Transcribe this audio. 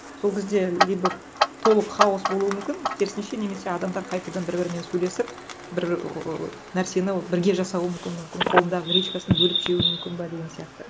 сол кезде либо толық хаос болуы мүмкін керісінше немесе адамдар қайтадан бір бірімен сөйлесіп бір ыыы нәрсені бірге жасауы мүмкін мүмкін қолындағы гречкасын бөліп жеуі мүмкін ба деген сияқты